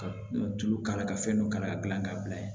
Ka tulu k'a la ka fɛn dɔ kalan ka gilan ka bila yen